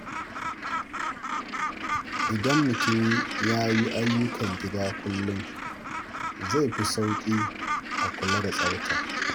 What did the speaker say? Idan mutum ya yi ayyukan gida kullum, zai fi sauƙi a kula da tsafta.